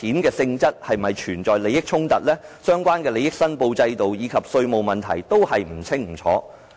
該筆款項是否涉及利益衝突、相關的利益申報制度，以及稅務問題都不清不楚。